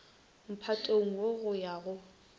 mphatong wo go ya go